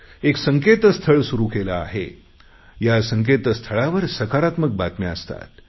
एक संकेतस्थळ सुरु केले आहे या संकेतस्थळावर सकारात्मक बातम्या असतात